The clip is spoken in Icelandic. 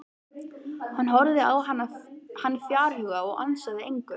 Hún horfði á hann fjarhuga og ansaði engu.